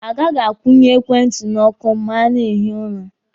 A gaghị akwụnye ekwentị n'ọkụ ma a na-ehi ụra.